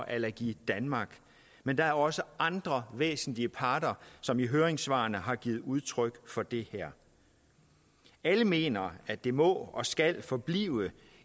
allergi danmark men der er også andre væsentlige parter som i høringssvarene har givet udtryk for det alle mener at det må og skal forblive